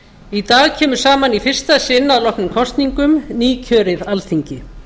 í dag kemur saman í fyrsta sinn að loknum kosningum nýkjörið alþingi